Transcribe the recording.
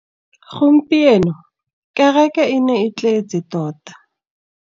Gompieno kêrêkê e ne e tletse tota.